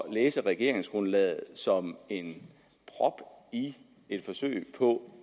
at læse regeringsgrundlaget som en prop i et forsøg på